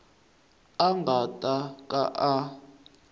a nga ta ka a